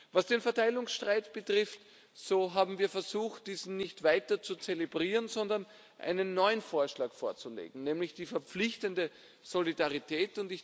Was den Verteilungsstreit betrifft, so haben wir versucht, diesen nicht weiter zu zelebrieren, sondern einen neuen Vorschlag vorzulegen, nämlich die verpflichtende Solidarität.